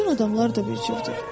Bütün adamlar da bir cürdür.